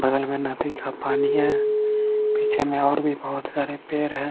बगल मे नदी का पानी है पीछे मे और भी बहुत सारे पेड़ है।